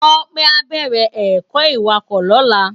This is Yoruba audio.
Tope á bèrè èkò iwákò lòlá